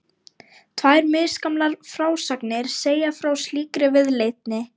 Tvær misgamlar frásagnir segja frá slíkri viðleitni.